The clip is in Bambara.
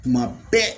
Tuma bɛɛ